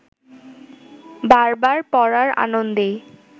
বার বার পড়ার আনন্দেই